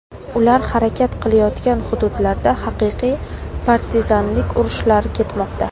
Ular harakat qilayotgan hududlarda haqiqiy partizanlik urushlari ketmoqda.